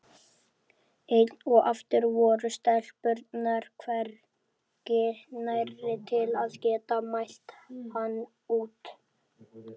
Enn og aftur voru stelpurnar hvergi nærri til að geta mælt hann út.